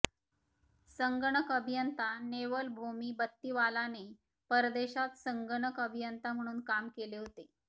संगणक अभियंता नेवल भोमी बत्तीवालाने परदेशात संगणक अभियंता म्हणून काम केले होते